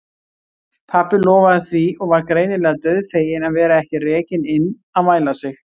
Pabbi lofaði því og var greinilega dauðfeginn að vera ekki rekinn inn að mæla sig.